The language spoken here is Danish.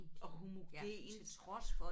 Og homogent